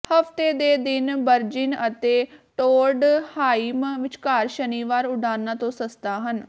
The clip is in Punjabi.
ਹਫ਼ਤੇ ਦੇ ਦਿਨ ਬਰਜਿਨ ਅਤੇ ਟੋਂਡਹਾਈਮ ਵਿਚਕਾਰ ਸ਼ਨੀਵਾਰ ਉਡਾਨਾਂ ਤੋਂ ਸਸਤਾ ਹਨ